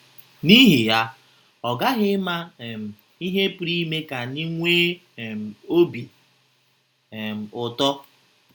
N’ihi ya, ọ ghaghị ịma um ihe pụrụ ime ka anyị nwee um obi um ụtọ.